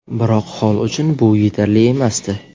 Biroq Holl uchun bu yetarli emasdi.